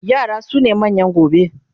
yara sune manyan gobe